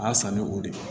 A y'a san ni o de ye